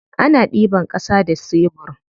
Ana ɗiban ƙasa da sebur.